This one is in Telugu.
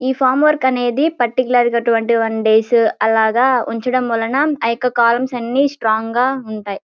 ఈ ఫార్మ్వర్క్ అనేది పర్టికులర్ గా ట్వంటీ ఒన్ డేస్ అలాగా ఉంచడం మూలాన ఆ యొక్క కొలమ్స్ అన్ని స్ట్రాంగ్ గా ఉంటాయ్.